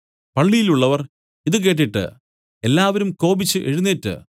പള്ളിയിലുള്ളവർ ഇതു കേട്ടിട്ട് എല്ലാവരും കോപിച്ച് എഴുന്നേറ്റ്